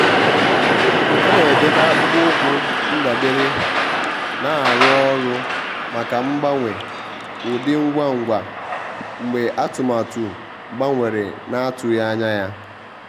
há nà-edèbè akpụkpọ́ụkwụ́ ndabere nà-árụ́ ọ́rụ́ màkà mgbanwe ụ́dị́ ngwa ngwa mgbe atụ́matụ gbanwere nà-átụ́ghị́ ányá yá.